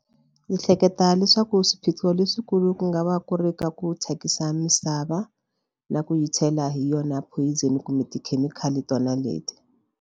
Ni hleketa leswaku swiphiqo leswikulu ku nga va ku ri ka ku thyakisa misava na ku yi chela hi yona poison kumbe tikhemikhali tona leti.